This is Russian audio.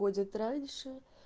будет раньше